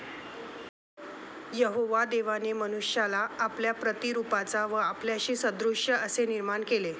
यहोवा देवाने मनुष्याला आपल्या प्रतिरुपाचा व आपल्याशी सदृश असे निर्माण केले.